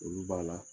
Olu b'a la